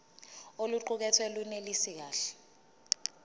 oluqukethwe lunelisi kahle